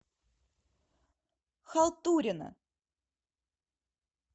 халтурина